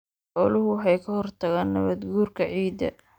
Xooluhu waxay ka hortagaan nabaadguurka ciidda.